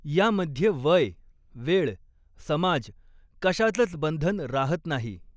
यामध्ये वय, वेळ, समाज कशाचच बंधन रहात नाही.